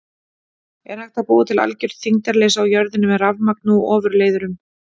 Er hægt að búa til algjört þyngdarleysi á jörðinni með rafmagni og ofurleiðurum?